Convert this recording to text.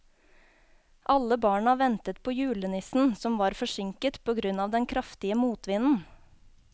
Alle barna ventet på julenissen, som var forsinket på grunn av den kraftige motvinden.